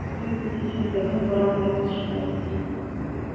всю эту нечисть давно пора гнать из школы